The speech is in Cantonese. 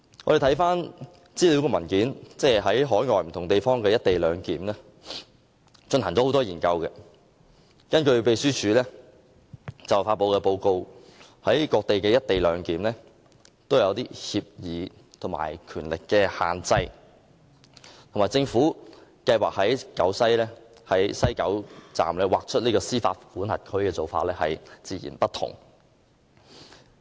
根據秘書處發表，有關就海外不同地方的"一地兩檢"安排進行若干研究的資料文件，在各地實施的"一地兩檢"安排均訂有某些協議和權力限制，與政府計劃在西九龍站劃出司法管轄區的做法截然不同。